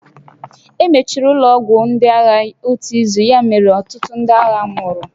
Emechiri ụlọ ọgwụ ndị agha otu izu, ya mere na ọtụtụ ndị agha nwụrụ